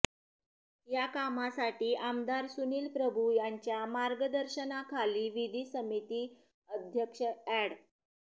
या कामासाठी आमदार सुनील प्रभू यांच्या मार्गदर्शनाखाली विधी समिती अध्यक्ष ऍड